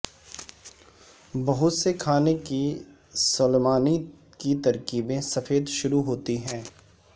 بہت سے کھانے کی سلیمان کی ترکیبیں سفید شروع ہوتی ہیں